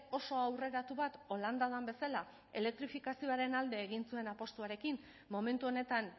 oso aurreratu bat holanda den bezala elektrifikazioaren alde egin zuen apustuarekin momentu honetan